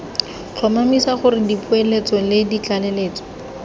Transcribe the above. tlhomamisa gore dipoeletso le ditlaleletso